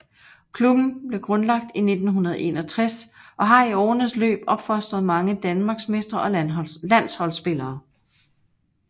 Klubben blev grundlagt i 1961 og har i årenes løb opfostret mange danmarksmestre og landsholdsspillere